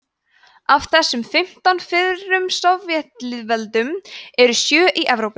af þessum fimmtán fyrrum sovétlýðveldum eru sjö í evrópu